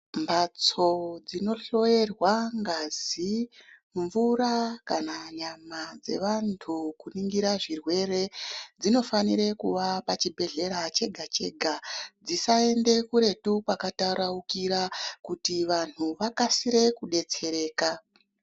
Mbatso dzinohloyerwa ngazi, mvura kana nyama dzevantu kuningira zvirwere dzinofanira kuwa pachibhedhlera chega chega. Dzisaende kuretu kwakataraukira kuti vantu vakasire kudetsereka.